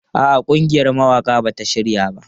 A'a, ƙungiyar mawaƙa ba ta shirya ba.